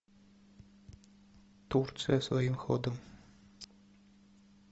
турция своим ходом